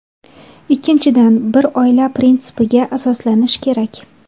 Ikkinchidan, bir oila prinsipiga asoslanish kerak.